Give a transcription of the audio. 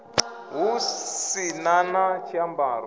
hu si na na tshiambaro